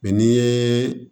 Mɛ n'i ye